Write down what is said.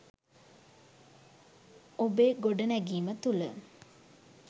ඔබේ ගොඩනැගීම තුළ